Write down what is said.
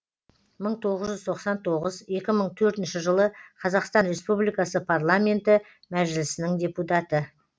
мың тоғыз жүз тоқсан тоғыз екі мың төртінші жылы қазақстан республикасы парламенті мәжілісінің депутаты